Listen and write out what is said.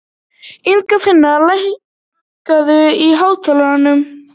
Ingifinna, lækkaðu í hátalaranum.